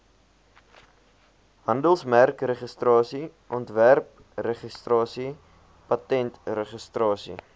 handelsmerkregistrasie ontwerpregistrasie patentregistrasie